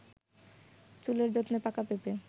চুলের যত্নে পাঁকা পেঁপে